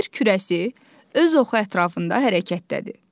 Yer kürəsi öz oxu ətrafında hərəkətdədir.